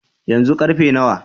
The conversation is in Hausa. Yanzu karfe nawa?